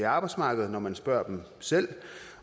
arbejdsmarkedet når man spørger dem selv